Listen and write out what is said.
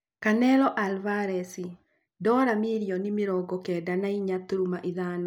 Canelo Alvarez ndora mirioni mĩrongo kenda na inya turuma ithano